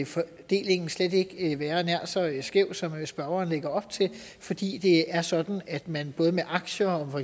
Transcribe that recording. fordelingen slet ikke være nær så skæv som spørgeren lægger op til fordi det er sådan at man både med aktier og